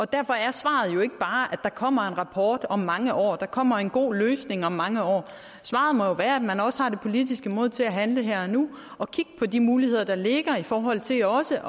derfor er svaret jo ikke bare at der kommer en rapport om mange år at der kommer en god løsning om mange år svaret må jo være at man også har det politiske mod til at handle her og nu og kigge på de muligheder der ligger i forhold til også